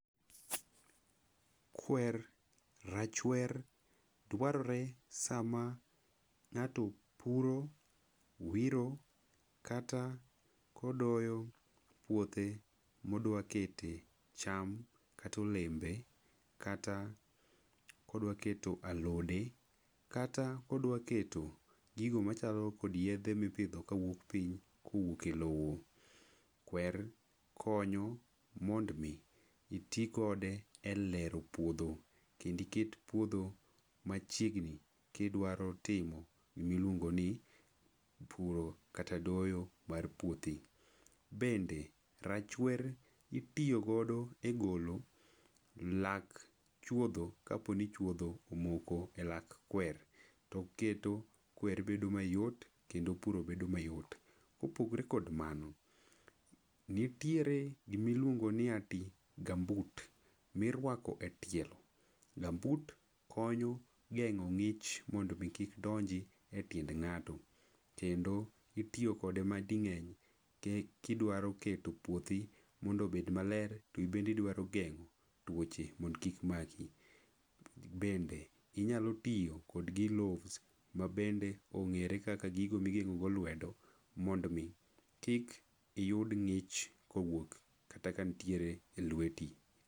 Kwer, rachwer, dwarore sama ng'ato puro, wiro, kata kodoyo puothe modwakete cham kata olembe kata kodwa keto alode, kata odwa keto gigo machalo kod yiedho mipidho kawuok piny kowuok e lowo. Kwer konyo mond mi itikode e lero puodho. Kendo iket puodho machiegni kidwaro timo gima iluongo ni puro kata doyo mar puothi. Bende rachwer itiyogodo e golo lak chuodho, ka po ni chuodho omoko e lak kwer. To oketo kwer bedo mayot kendo puro bedo mayot. Kopogore kod mano, nitiere gima iluongo ni ati gumboot mirwako e tielo. Gumboot konyo geng'o ng'ich mondo omi kik donji e tiend ng'ato. Kendo itiyo kode mading'eny, kidwa keto puothi mondo obed maler, to in bende idwaro geng'o twoche mondo kik maki. Bende inyalo tigo kod gloves ma bende ong'ere ka gigo ma igeng'o go lwedo mondo omi kik yud ng'ich kowuok kata ka ntiere elweti.